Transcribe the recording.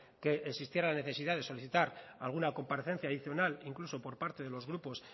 que existiera la necesidad de solicitar alguna comparecencia adicional incluso por parte de los grupos